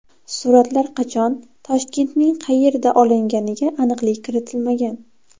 Suratlar qachon, Toshkentning qayerida olinganiga aniqlik kiritilmagan.